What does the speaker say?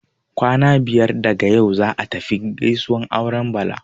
Kwana biyar daga yau, za'a tafi gaisuwar auren Bala.